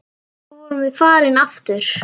Svo vorum við farin aftur.